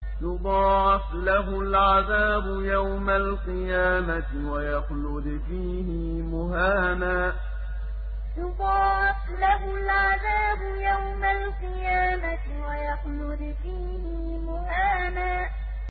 يُضَاعَفْ لَهُ الْعَذَابُ يَوْمَ الْقِيَامَةِ وَيَخْلُدْ فِيهِ مُهَانًا يُضَاعَفْ لَهُ الْعَذَابُ يَوْمَ الْقِيَامَةِ وَيَخْلُدْ فِيهِ مُهَانًا